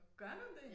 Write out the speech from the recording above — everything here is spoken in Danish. Gør du det